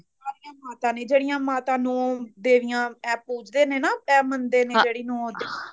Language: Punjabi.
ਸਾਰੀਆ ਮਾਤਾ ਨੇ ਜਿਹੜੀਆ ਮਾਤਾ ਨੂੰ ਦੇਵੀਆ ਐ ਪੂਜਦੇ ਨੇ ਨਾ ਐ ਮੰਨਦੇ ਨੇ ਜਿਹੜੀ ਨੂੰ